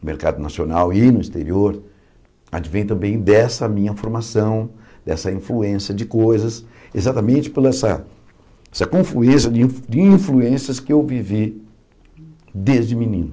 no mercado nacional e no exterior, advém também dessa minha formação, dessa influência de coisas, exatamente por essa essa confluência de de influências que eu vivi desde menino.